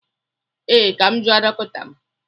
Ee, Ka m jụọ dọkịta m